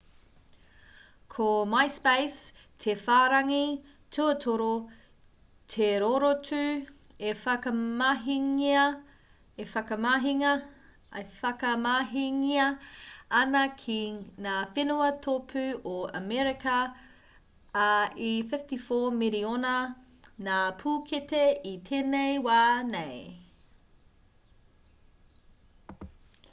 ko myspace te whārangi tuatoru te rorotu e whakamahingia ana ki ngā whenua tōpū o amerika ā e 54 miriona ngā pūkete i tēnei wā nei